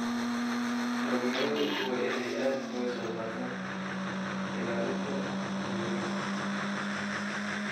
Dhalinyaradu waa in ay aad uga qayb qaataan ilaalinta deegaanka.